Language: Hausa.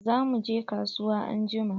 Za mu je kasuwa anjuma.